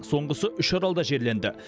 соңғысы үшаралда жерленді